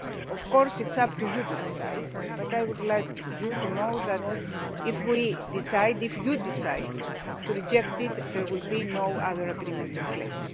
Of course it is up to you to decide, but I would like you to know that if you decide to reject it there will be no other agreement in place.